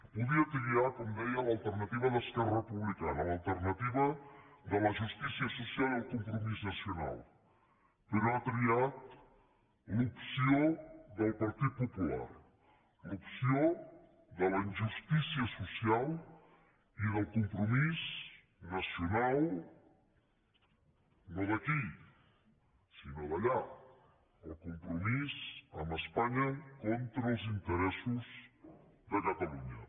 podia triar com deia l’alternativa d’esquerra republicana l’alternativa de la justícia social i el compromís nacional però ha triat l’opció del partit popular l’opció de la injustícia social i del compromís nacional no d’aquí sinó d’allà el compromís amb espanya contra els interessos de catalunya